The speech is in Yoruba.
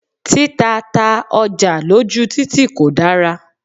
Títa ta ọjà lójú títì kò dára.